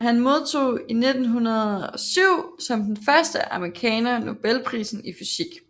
Han modtog i 1907 som den første amerikaner Nobelprisen i fysik